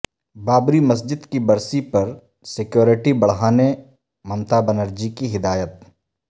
بابری مسجد کی برسی پر سیکورٹی بڑھانے ممتا بنرجی کی ہدایت